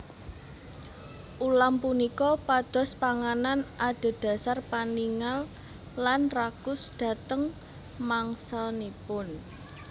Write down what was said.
Ulam punika pados panganan adhedhasar paningal lan rakus dhateng mangsanipun